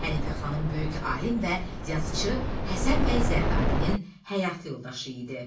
Hənifə xanım böyük alim və yazıçı Həsən bəy Zərdabinin həyat yoldaşı idi.